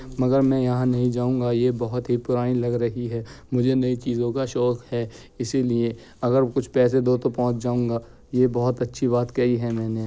मगर मैं यहाँ नही जाऊंगा। ये बहुत ही पुरानी लग रही है। मुझे नई चीजो का शौक है इसीलिए अगर कुछ पेसे दो तो पहुँच जाऊंगा। ये बहुत अच्छी बात कही है मैंने।